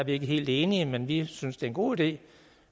ikke helt enige men vi synes det er en god idé